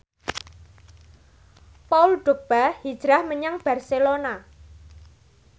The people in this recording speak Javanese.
Paul Dogba hijrah menyang Barcelona